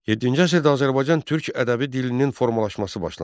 Yeddinci əsrdə Azərbaycan türk ədəbi dilinin formalaşması başlandı.